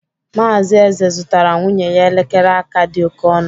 Mazị Eze zụtara nwunye ya elekere aka dị oke ọnụ.